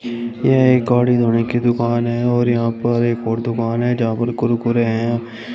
यह एक गाड़ी धोने की दुकान है और यहां पर एक और दुकान है यहां पर कुरकुरे हैं।